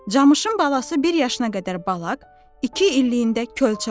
Camışın balası bir yaşına qədər balaq, iki illiyində kölçə olur.